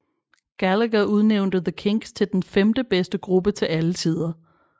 Gallagher udnævnte The Kinks til den femtebedste gruppe til alle tider